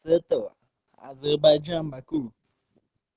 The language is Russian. с этого азербайджан баку